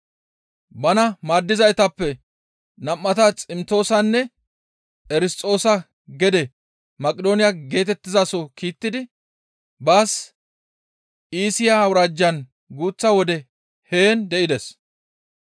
Bana maaddizaytappe nam7ata Ximtoosanne Erisxoosa gede Maqidooniya geetettizaso kiittidi baas Iisiya awuraajjan guuththa wode heen de7ides.